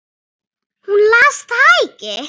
Hún las það ekki.